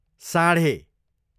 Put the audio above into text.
साँढे